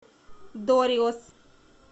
дориос